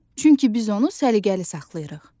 Çünki biz onu səliqəli saxlayırıq.